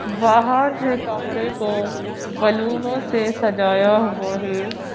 बाहर से कमरे को बलूनों से सजाया हुआ है।